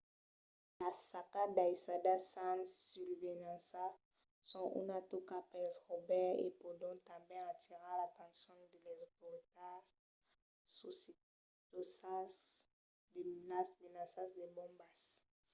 las sacas daissadas sens susvelhança son una tòca pels raubaires e pòdon tanben atirar l’atencion de las autoritats socitosas de las menaças de bombas